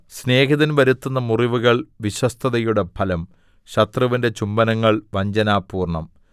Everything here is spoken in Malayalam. സ്നേഹിതൻ വരുത്തുന്ന മുറിവുകൾ വിശ്വസ്തതയുടെ ഫലം ശത്രുവിന്റെ ചുംബനങ്ങൾ വഞ്ചനാപൂർണ്ണം